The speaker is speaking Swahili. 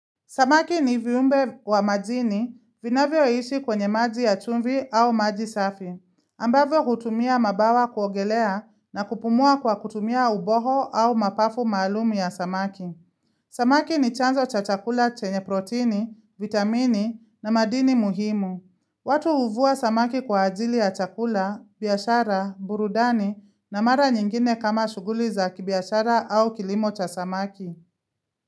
Samaki ni viumbe wa majini vinavyoishi kwenye maji ya chumvi au maji safi, ambavyo hutumia mabawa kuogelea na kupumua kwa kutumia uboho au mapafu maalumu ya samaki. Samaki ni chanzo cha chakula chenye protini, vitamini na madini muhimu. Watu huvua samaki kwa ajili ya chakula, biashara, burudani na mara nyingine kama shughuli za kibiashara au kilimo cha samaki.